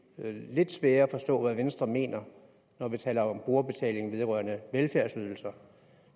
lidt sværere at forstå hvad venstre mener når vi taler om brugerbetaling vedrørende velfærdsydelser